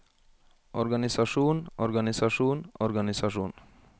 organisasjon organisasjon organisasjon